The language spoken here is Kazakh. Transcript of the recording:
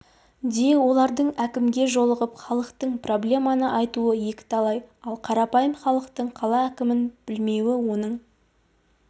де олардың әкімге жолығып халықтық проблеманы айтуы екіталай ал қарапайым халықтың қала әкімін білмеуі оның